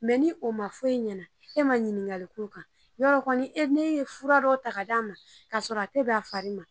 ni o ma fɔ e ɲɛna e ma ɲininkali k'o kan yɔrɔ kɔni e ne ye fura dɔ ta k'o d'a ma ka sɔrɔ a te bɛn a fari ma.